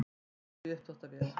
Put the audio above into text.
Eldur í uppþvottavél